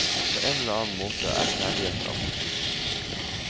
På en eller annen måte er kjærligheten alltid fysisk.